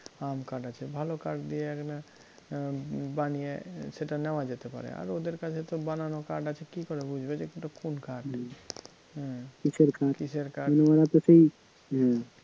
আম কাঠ আছে, ভালো কাঠ দিয়ে এ~ বানিয়ে সেটা নেওয়া যেতে পারে আর ওদের কাছে তো বানানো কাঠ আছে কী করে বুঝবে যে ওটা কোন কাঠ কিসের কাঠ?